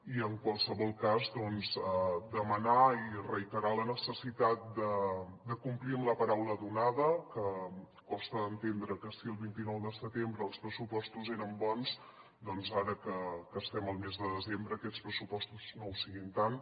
i en qualsevol cas doncs demanar i reiterar la necessitat de complir amb la paraula donada que costa d’entendre que si el vint nou de setembre els pressupostos eren bons doncs ara que estem al mes de desembre aquests pressupostos no ho siguin tant